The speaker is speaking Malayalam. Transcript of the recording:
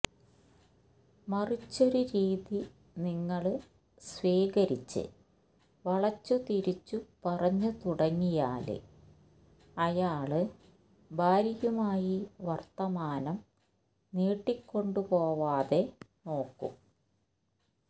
മറിച്ചൊരു രീതി നിങ്ങള് സ്വീകരിച്ച് വളച്ചുതിരിച്ചു പറഞ്ഞു തുടങ്ങിയാല് അയാള് ഭാര്യയുമായി വര്ത്തമാനം നീട്ടിക്കൊണ്ടുപോവാതെ നോക്കും